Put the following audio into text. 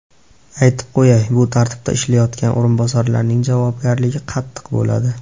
Aytib qo‘yay, bu tartibda ishlayotgan o‘rinbosarlarning javobgarligi qattiq bo‘ladi.